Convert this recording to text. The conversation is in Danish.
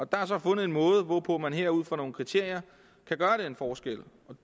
der er så fundet en måde hvorpå man her ud fra nogle kriterier kan gøre den forskel